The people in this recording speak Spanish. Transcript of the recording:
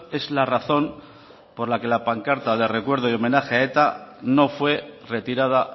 es la razón por la que la pancarta de recuerdo y homenaje a eta no fue retirada